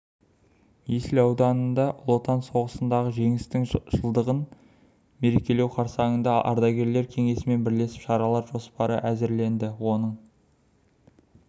есіл ауданында ұлы отан соғысындағы жеңістің жылдығын мерекелеу қарсаңында ардагерлер кеңесімен бірлесіп шаралар жоспары әзірленді оның